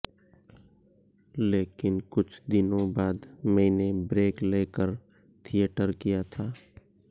लेकिन कुछ दिनों बाद मैंने ब्रेक लेकर थिएटर किया था